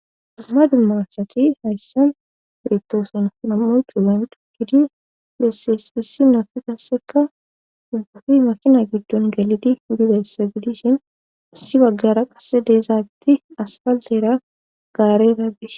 Dumma dummarsati hayssan iretoosona nam'o cuugan tukkidi bessee hissi nofi kasseka dubbufi masina giddon galidi bidessa gidishin issi baggara qase deezaatti asfallera gaarera bis